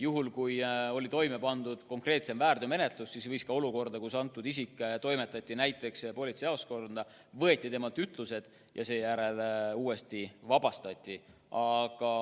Juhul kui oli toime pandud konkreetsem väärtegu, siis võidi isik toimetada ka politseijaoskonda, kus võeti temalt ütlused ja seejärel ta vabastati.